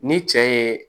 Ni cɛ ye